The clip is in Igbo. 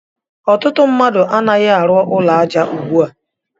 Ọtụtụ mmadụ a naghi arụ ụlọ aja ugbua.